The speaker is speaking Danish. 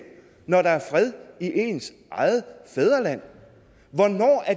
når der er fred i ens eget fædreland